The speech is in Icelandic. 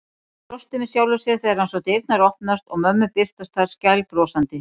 Hann brosti með sjálfum sér þegar hann sá dyrnar opnast og mömmu birtast þar skælbrosandi.